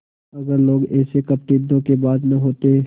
अगर लोग ऐसे कपटीधोखेबाज न होते